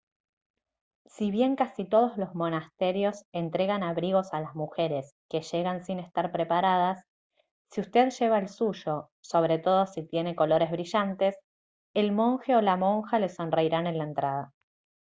si bien casi todos los monasterios entregan abrigos a las mujeres que llegan sin estar preparadas si usted lleva el suyo sobre todo si tiene colores brillantes el monje o la monja le sonreirán en la entrada